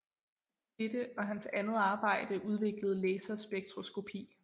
Dette og hans andet arbejde udviklede laserspektroskopi